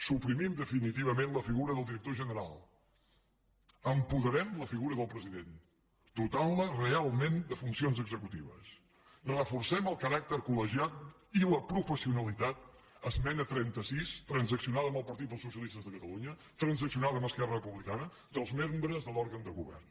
suprimim definitivament la figura del director general apoderarem la figura del president dotant la realment de funcions executives reforcem el caràcter col·legiat i la professionalitat esmena trenta sis transaccionada amb el partit dels socialistes de catalunya transaccionada amb esquerra republicana dels membres de l’òrgan de govern